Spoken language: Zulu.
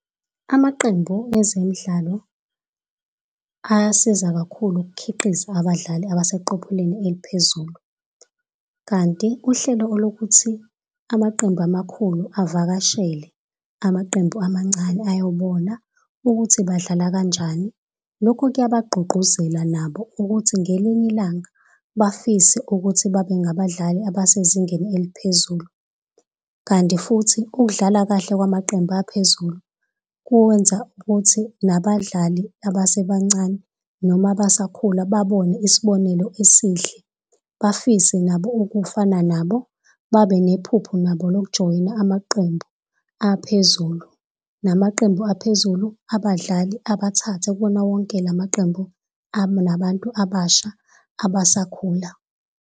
Amaqembu ezemidlalo, ayasiza kakhulu ukukhiqiza abadlali abaseqophelweni eliphezulu. Kanti uhlelo olokuthi amaqembu amakhulu avakashele amaqembu amancane ayobona ukuthi badlala kanjani, lokho kuyabagqugquzela nabo ukuthi ngelinye ilanga bafise ukuthi babengabadali abasezingeni eliphezulu. Kanti futhi ukudlala kahle kwamaqembu aphezulu kuwenza ukuthi nabadlali abasebancane noma abasakhula babone isibonelo esihle, bafise nabo ukufana nabo, babe nephupho nabo lokujoyina amaqembu aphezulu. Namaqembu aphezulu abadlali abathathe kuwona wonke lamaqembu anabantu abasha abasakhula.